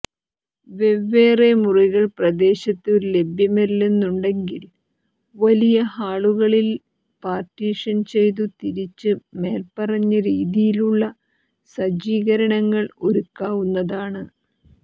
വെവ്വേറെ മുറികൾ പ്രദേശത്തു ലഭ്യമല്ലെന്നുണ്ടെങ്കിൽ വലിയ ഹാളുകളിൽ പാർട്ടീഷൻ ചെയ്തു തിരിച്ച് മേല്പറഞ്ഞരീതിയിലുള്ള സജ്ജീകരണങ്ങൾ ഒരുക്കാവുന്നതാണ്